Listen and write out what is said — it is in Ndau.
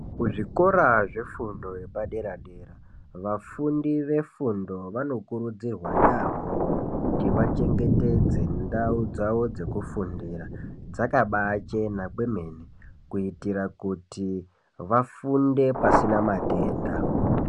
Kuzvikora zvefundo yepadera-dera vafundi vefundo vanokurudzirwa yaamho, kuti vachengetedze ndau dzavo dzekufundira dzakabachena kwemene. Kuitira kuti vafunde pasina matenda.